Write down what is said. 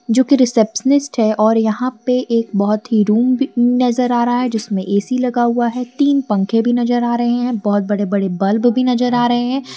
जोकि रिसेप्शनिस्ट है और यहां पे एक बहुत ही रूम नजर आ रहा है जिसमें ए_सी लगा हुआ है तीन पंखे भी नजर आ रहे हैं बहुत बड़े बड़े बल्ब भी नजर आ रहे हैं।